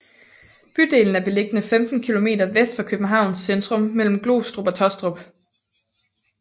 Bydelen er beliggende 15 kilometer vest for Københavns centrum mellem Glostrup og Taastrup